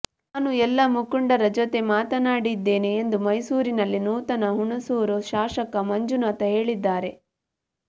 ನಾನು ಎಲ್ಲ ಮುಖಂಡರ ಜೊತೆ ಮಾತಾಡಿದ್ದೇನೆ ಎಂದು ಮೈಸೂರಿನಲ್ಲಿ ನೂತನ ಹುಣಸೂರು ಶಾಸಕ ಮಂಜುನಾಥ್ ಹೇಳಿದ್ದಾರೆ